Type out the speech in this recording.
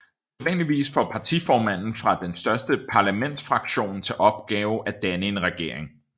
Sædvanligvis får partiformanden fra den største parlamentsfraktion til opgave at danne en regering